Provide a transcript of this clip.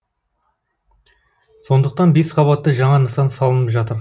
сондықтан бесқабатты жаңа нысан салынып жатыр